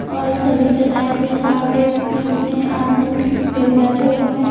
और सभी चटाई पिछा के अपने अपने आसन पे बैठे हुए हैं।